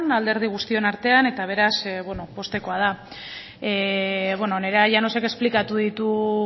alderdi guztion artean eta beraz beno poztekoa da nerea llanosek esplikatu ditu